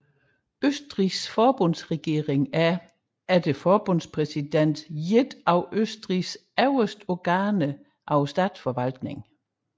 Østrigs forbundsregering er efter forbundspræsidenten et af Østrigs øverste organer af statsforvaltningen